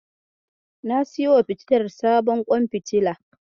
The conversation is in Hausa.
Na siyowa fitilar sabuwar kwan fitila.